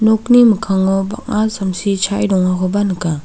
nokni mikkango bang·a samsi chae dongakoba nika.